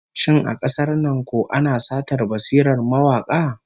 Shin a kasar nan ko ana satar basirar mawaka?